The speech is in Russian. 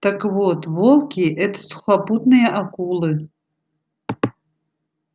так вот волки это сухопутные акулы